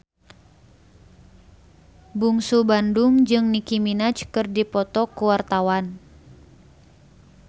Bungsu Bandung jeung Nicky Minaj keur dipoto ku wartawan